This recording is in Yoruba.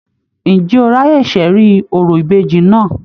Ǹjẹ́ o ráyè ṣẹ̀rí orò ìbejì náà?